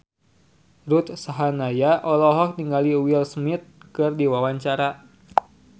Ruth Sahanaya olohok ningali Will Smith keur diwawancara